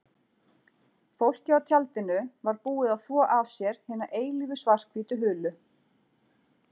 Fólkið á tjaldinu var búið að þvo af sér hina eilífu svarthvítu hulu.